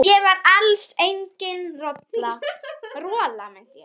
Ég var alls engin rola.